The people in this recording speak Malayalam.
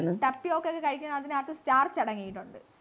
tapiyoca ഒക്കെ കഴിക്കുന്നത് അതിനാത്ത് starch അടങ്ങീട്ടുണ്ട്